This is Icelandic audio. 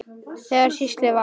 Þegar að slysið varð?